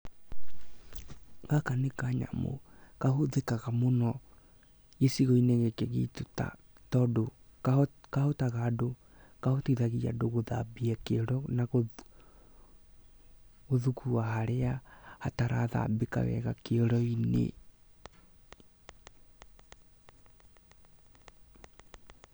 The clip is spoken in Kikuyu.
Gaka nĩ kanyamũ kahũthĩkaga mũno gicigo-inĩ gĩkĩ gitũ tondũ kahotithagia andũ gũthambia kĩoro na gũthugua harĩa hatarathambĩka wega kĩoro-inĩ.